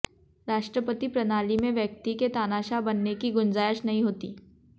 राष्ट्रपति प्रणाली में व्यक्ति के तानाशाह बनने की गुंजायश नहीं होती